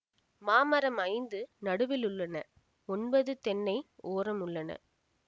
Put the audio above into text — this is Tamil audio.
மாமரம் ஐந்து நடுவில் உள்ளன ஒன்பது தென்னை ஓரம் உள்ளன